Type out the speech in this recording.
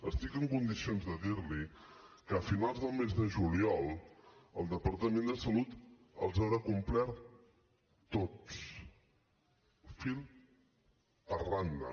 estic en condicions de dir li que a finals del mes de juliol el departament de salut els haurà complert tots fil per randa